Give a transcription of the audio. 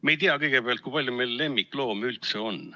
Me ei tea kõigepealt, kui palju meil lemmikloomi üldse on.